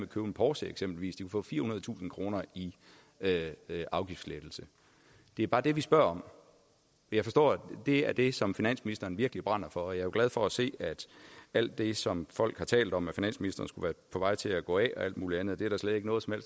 købe en porsche eksempelvis få firehundredetusind kroner i afgiftslettelse det er bare det vi spørger om jeg forstår at det er det som finansministeren virkelig brænder for og jeg er jo glad for at se at alt det som folk har talt om at finansministeren skulle være på vej til at gå af og alt mulig andet er der slet ikke noget som